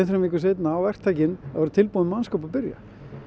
þremur vikum seinna á verktakinn að vera tilbúinn með mannskap og byrja